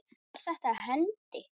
Var þetta hendi?